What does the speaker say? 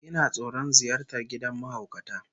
Ina tsoron ziyartar gidan mahaukata